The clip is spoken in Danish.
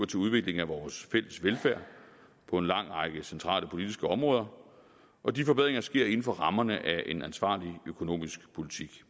til udvikling af vores fælles velfærd på en lang række centrale politiske områder og de forbedringer sker inden for rammerne af en ansvarlig økonomisk politik